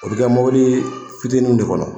O bɛ kɛ mobili fitininw de kɔnɔ.